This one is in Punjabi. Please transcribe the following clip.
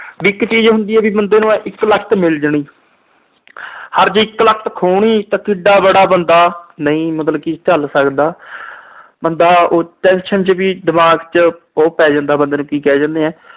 ਵੀ ਇਕ ਚੀਜ ਹੁੰਦੀ ਆ, ਬੰਦੇ ਨੂੰ ਇਕਲਕਤ ਮਿਲ ਜਾਣੀ। ਓਰ ਜੇ ਇਕਲਕਤ ਖੋਹਣੀ ਤਾਂ ਕਿਡਾ ਬੜਾ ਬੰਦਾ ਨਹੀਂ ਮਤਲਬ ਝੱਲ ਸਕਦਾ। ਬੰਦਾ tension ਚ ਵੀ ਦਿਮਾਗ ਚ ਉਹ ਪੈ ਜਾਂਦਾ ਬੰਦੇ ਦੇ ਕਿ ਕਹਿ ਦਿਨੇ ਆ